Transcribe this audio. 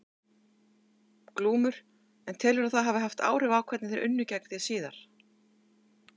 Glúmur: Og telurðu að það hafi haft áhrif á hvernig þeir unnu gegn þér síðar?